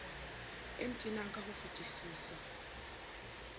e ntenang ka ho fetisisa